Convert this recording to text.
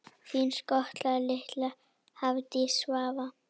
Þín skotta litla, Hafdís Svava.